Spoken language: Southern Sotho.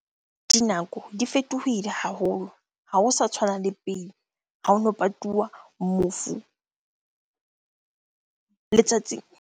Dinako di fetohile haholo. Ha ho sa tshwana le pele ha hono patuwa mofu letsatsi.